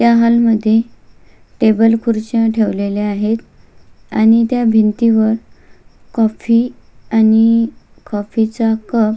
ह्या हॉल मध्ये टेबल खुर्च्या ठेवलेल्या आहेत आणि त्या भिंतीवर कॉफी आणि कॉफी चा कप --